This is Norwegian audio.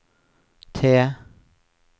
T